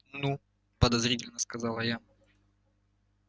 ну подозрительно сказала я